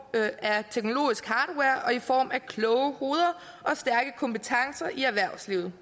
af teknologisk hardware og i form af kloge hoveder og stærke kompetencer i erhvervslivet